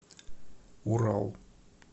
урал